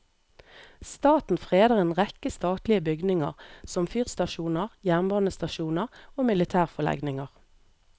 Staten freder en rekke statlige bygninger, som fyrstasjoner, jernbanestasjoner og militærforlegninger.